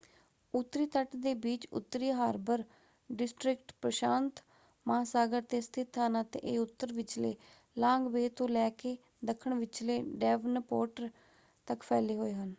ਉੱਤਰੀ ਤਟ ਦੇ ਬੀਚ ਉੱਤਰੀ ਹਾਰਬਰ ਡਿਸਟ੍ਰਿਕਟ ਪ੍ਰਸ਼ਾਂਤ ਮਹਾਂਸਾਗਰ 'ਤੇ ਸਥਿਤ ਹਨ ਅਤੇ ਇਹ ਉੱਤਰ ਵਿਚਲੇ ਲਾਂਗ ਬੇਅ ਤੋਂ ਲੈ ਕੇ ਦੱਖਣ ਵਿਚਲੇ ਡੈਵਨਪੋਰਟ ਤੱਕ ਫੈਲੇ ਹੋਏ ਹਨ।